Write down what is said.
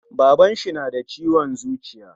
Baban shi nada ciwon zuciya